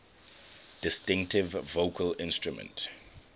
distinctive vocal instrument